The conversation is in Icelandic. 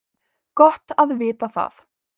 Gott að vita það